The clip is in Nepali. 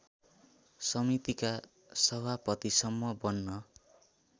समितिका सभापतिसम्म बन्न